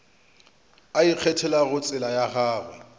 a ikgethelago tsela ya gagwe